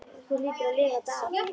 Þú hlýtur að lifa þetta af.